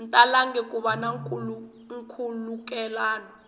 talangi ku va na nkhulukelano